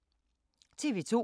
TV 2